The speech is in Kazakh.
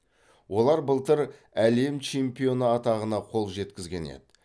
олар былтыр әлем чемпионы атағына қол жеткізген еді